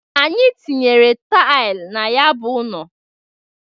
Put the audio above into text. Atinyere taịl na ya bụ ụnọ.